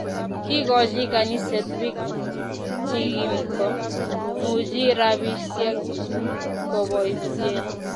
Kikochi kaniset biik chikimko muchi rabisiek koboisie